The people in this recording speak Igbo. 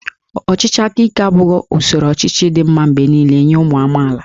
Ọchịchị aka ike abụghị usoro ọchịchị dị mma mgbe niile nye ụmụ amaala